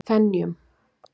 Fenjum